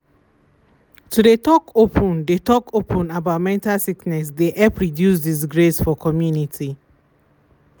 to de talk open de talk open about mental sickness de help reduce disgrace for community